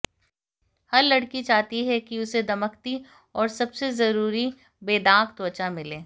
हर लड़की चाहती है कि उसे दमकती और सबसे जरूरी बेदाग त्वचा मिले